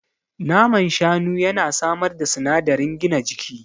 Naman Shanu ya na samar da sinadarin gina jiki